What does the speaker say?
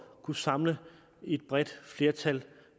kunne samle et bredt flertal